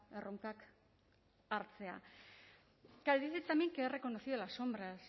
erronkak hartzea claro dice también que ha reconocido las sombras